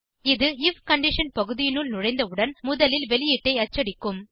இது if condition பகுதியினுள் நுழைந்தவுடன் முதலில் வெளியீட்டை அச்சடிக்கும்